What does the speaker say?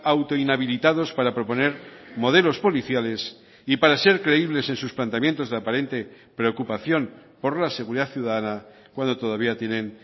auto inhabilitados para proponer modelos policiales y para ser creíbles en sus planteamientos de aparente preocupación por la seguridad ciudadana cuando todavía tienen